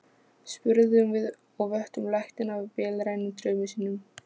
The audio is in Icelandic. spurðum við og vöktum lækninn af vélrænum draumi sínum.